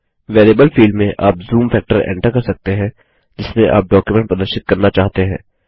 variable field में आप zoom factor enter कर सकते हैं जिसमें आप डॉक्युमेंट प्रदर्शित करना चाहते हैं